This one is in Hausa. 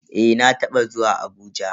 Eh na taba zuwa Abuja.